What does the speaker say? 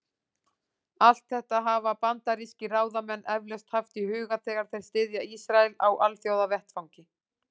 Allt þetta hafa bandarískir ráðamenn eflaust haft í huga, þegar þeir styðja Ísrael á alþjóðavettvangi.